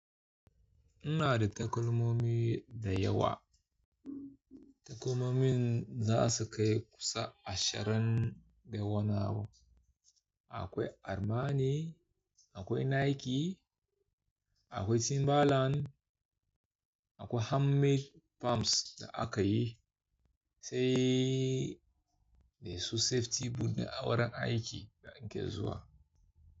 Ina da takalmomi da yawa. Takalmomin za su kai kusan ashirin da wanni abu. Akwai Armani, akwai Nike, akwai Timbaland, akwai handmade palms da aka yi, sai dai su safety boot da awaran aiki da in ke zuwa.